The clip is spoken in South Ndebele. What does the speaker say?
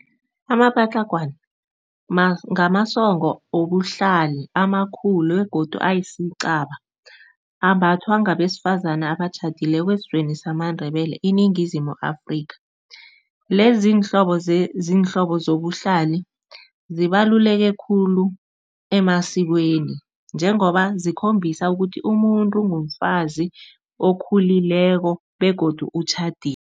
Amapatlagwana ngamasongo wobuhlali amakhulu begodu ayisicaba, ambathwa ngabesifazani abatjhadileko esizweni samaNdebele iningizimu Afrika. Lezi zinhlobo zobuhlali, zibaluleke khulu emasikweni njengoba zikhombisa ukuthi umuntu mfazi okhulileko begodu utjhadile.